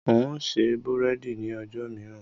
N ó ṣe búrẹ́dì ni ọjọ́ mìíràn.